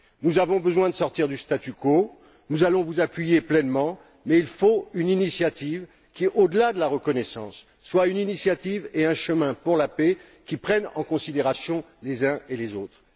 Nous avons besoin de sortir du statu quo, nous allons vous appuyer pleinement, mais il faut une initiative qui, au delà de la reconnaissance, soit une initiative et un chemin pour la paix qui prennent en considération les uns et les autres.